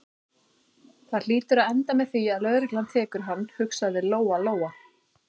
Það hlýtur að enda með því að lögreglan tekur hann, hugsaði Lóa-Lóa.